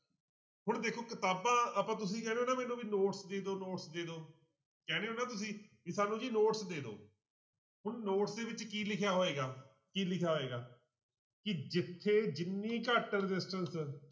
ਹੁਣ ਦੇਖੋ ਕਿਤਾਬਾਂ ਆਪਾਂ ਤੁਸੀਂ ਕਹਿੰਦੇ ਹੋ ਨਾ ਮੈਨੂੰ ਵੀ notes ਦੇ ਦਓ notes ਦੇ ਦਓ ਕਹਿੰਦੇ ਹੋ ਨਾ ਤੁਸੀਂ ਵੀ ਸਾਨੂੰ ਜੀ notes ਦੇ ਦਓ ਹੁਣ notes ਦੇ ਵਿੱਚ ਕੀ ਲਿਖਿਆ ਹੋਏਗਾ ਕੀ ਲਿਖਿਆ ਹੋਏਗਾ ਕਿ ਜਿੱਥੇ ਜਿੰਨੀ ਘੱਟ resistance